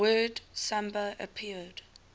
word samba appeared